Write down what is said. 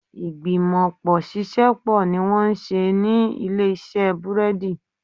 Ìgbìmọ̀pọ̀ ṣiṣẹ́ pọ̀ ní wọ́n ń ṣe ní ilé iṣẹ́ búrẹ́dì